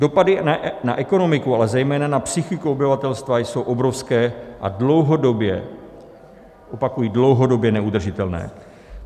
Dopady na ekonomiku, ale zejména na psychiku obyvatelstva jsou obrovské a dlouhodobě - opakuji dlouhodobě - neudržitelné.